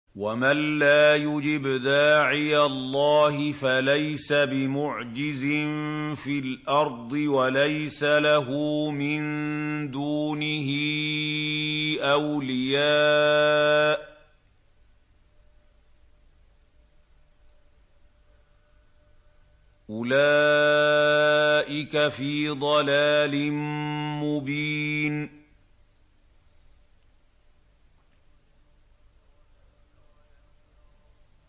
وَمَن لَّا يُجِبْ دَاعِيَ اللَّهِ فَلَيْسَ بِمُعْجِزٍ فِي الْأَرْضِ وَلَيْسَ لَهُ مِن دُونِهِ أَوْلِيَاءُ ۚ أُولَٰئِكَ فِي ضَلَالٍ مُّبِينٍ